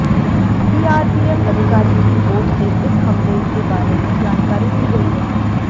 CRPF अधिकारी की ओर से इस हमले के बारे में जानकारी दी गई है